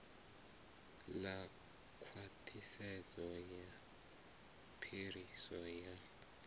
ḽa khwaṱhisedzo ya phiriso ya